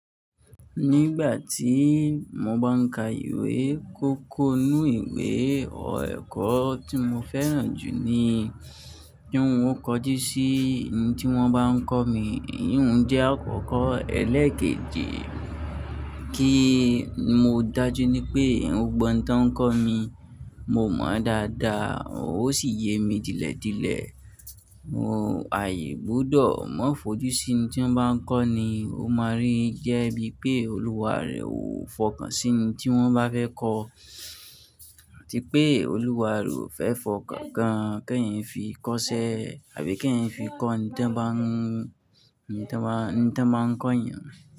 Nígbà tí mo bá ń ka ìwé kókó nínú ìwé ọ̀ẹ̀kọ́ tí mo fẹ́ràn jù ni kí ohun ó kojú sí ẹni tí wọ́n bá ń kọ́ mi, híhun jẹ́ àkókò ẹlẹ́kẹ́jẹ ki mo dájú ní pé ohun gbọ̀n tí wọ́n ń kọ́ mi, mo mọ̀ ọ́n dáadáa ó sì yé mi dílẹ̀ dílẹ̀. Mo àì gbọ́dọ̀ mọ́ fojú sí ẹni tí wọ́n bá ń kọ́ ni, ó máa rí yẹ́ bí pé olúwa rẹ ò fọkàn sí ẹni tí wọ́n bá fẹ́ kọ́, tí pé olúwa rẹ ò fẹ́ fọkàn kan kí ẹyin fi kọ́ṣẹ́ àbí kí ẹyin fi kọ́ ẹni tí ń bá, ẹni tí ń bá, ẹni tí ń bá ń kọ́ ènìyàn.